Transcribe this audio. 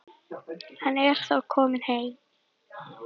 Hann er þó kominn heim.